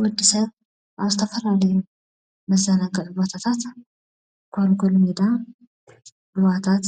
ወዲ ሰብ ኣብ ዝተፈላለዩ መዘናግዒ ቦታታት ጎልጎል፣ ሜዳ፣ ሩባታት